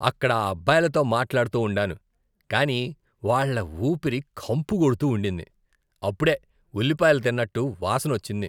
అక్కడ ఆ అబ్బాయిలతో మాట్లాడుతూ ఉండాను, కానీ వాళ్ళ ఊపిరి కంపు కొడుతూ ఉండింది. అప్పుడే ఉల్లిపాయలు తిన్నట్లు వాసనొచ్చింది.